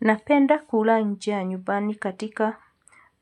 Napenda kula njia nyubani katika